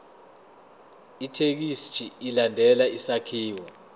ithekisthi ilandele isakhiwo